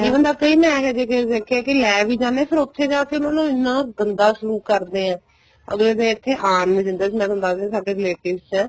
ਜੇ ਬੰਦਾ ਕਈ ਮੈਂ ਇਹ ਜਹੇ ਕੇਸ ਦੇਖੇ ਹੈ ਲੈ ਵੀ ਜਾਂਦੇ ਹੈ ਫ਼ਿਰ ਉੱਥੇ ਜਾਕੇ ਉਹਨਾ ਦਾ ਐਨਾ ਗੰਦਾ ਸਲੂਕ ਕਰਦੇ ਏ ਅੱਗਲੇ ਨੂੰ ਇੱਥੇ ਆਉਣ ਨਹੀਂ ਦਿੰਦੇ ਮੈਂ ਤੁਹਾਨੂੰ ਦੱਸਦੀ ਹਾਂ ਸਾਡੇ relatives ਚ